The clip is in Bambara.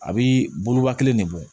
A bi boloba kelen de bɔ